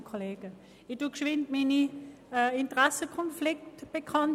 Ich gebe kurz meine Interessenkonflikte bekannt: